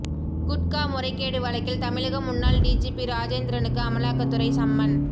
குட்கா முறைகேடு வழக்கில் தமிழக முன்னாள் டிஜிபி ராஜேந்திரனுக்கு அமலாக்கத்துறை சம்மன்